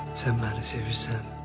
Sən məni sevirsən.